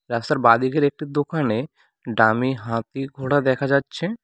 রাস্তার বাঁদিকের একটি দোকানে ডামি হাতি ঘোড়া দেখা যাচ্ছে।